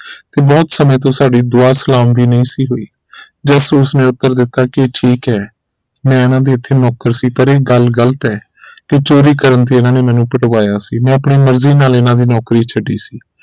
ਤੇ ਬਹੁਤ ਸਮੇ ਤੋਂ ਸਾਡੀ ਦੁਆ ਸਲਾਮ ਵੀ ਨਹੀਂ ਸੀ ਹੋਈ ਜਾਸੂਸ ਨੇ ਉੱਤਰ ਦਿੱਤਾ ਕਿ ਇਹ ਠੀਕ ਹੈ ਮੈਂ ਇਨ੍ਹਾਂ ਦੇ ਇਥੇ ਨੌਕਰ ਸੀ ਪਰ ਇਹ ਗੱਲ ਗ਼ਲਤ ਹੈ ਕਿ ਚੋਰੀ ਕਰਨ ਤੇ ਇਨ੍ਹਾਂ ਨੇ ਮੈਨੂੰ ਪਿਟਵਾਇਆ ਸੀ ਮੈਂ ਆਪਣੀ ਮਰਜ਼ੀ ਨਾਲ ਇਨ੍ਹਾਂ ਦੀ ਨੌਕਰੀ ਛੱਡੀ ਸੀ